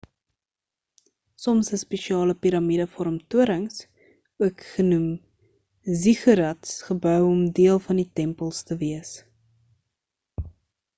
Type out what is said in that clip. soms is spesiale piramide vorm torings ook genoeg ziggurats gebou om deel van die tempels te wees